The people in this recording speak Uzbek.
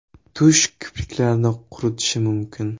Tush kipriklarni quritishi mumkin.